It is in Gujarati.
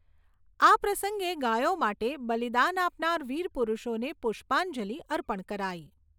આ પ્રસંગે ગાયો માટે બલિદાન આપનાર વિરપુરુષોને પુષ્પાંજલિ અર્પણ કરાઈ